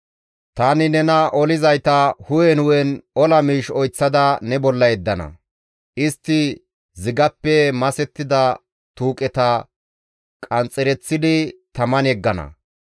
Tani nena olizayta hu7en hu7en ola miish oyththada ne bolla yeddana; istti zigappe masettida tuuqeta qanxxereththidi taman yeggana.